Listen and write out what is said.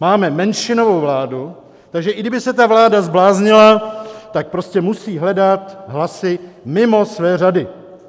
Máme menšinovou vládu, takže i kdyby se ta vláda zbláznila, tak prostě musí hledat hlasy mimo své řady.